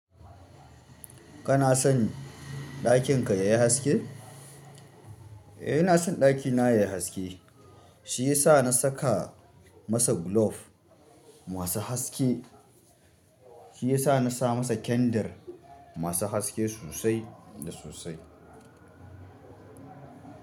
Kana son ɗakin ka yayi haske? Eh ina son ɗakina yayi haske. Shi yasa na saka masa gulof masu haske. Shi yasa na sa masa kyendir masu haske sosai da sosai.